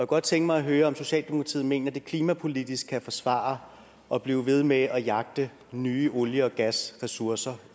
godt tænke mig at høre om socialdemokratiet mener at det klimapolitisk kan forsvare at blive ved med at jagte nye olie og gasressourcer